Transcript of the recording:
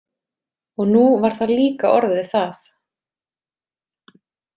Og nú var það líka orðið það.